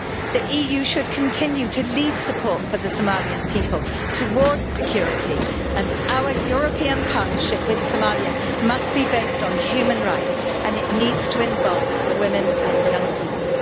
The EU should continue to lead support for the Somalian people, towards security, and our European partnership with Somalia must be based on human rights and it needs to involve women and young people.